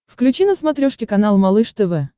включи на смотрешке канал малыш тв